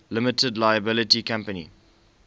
limited liability company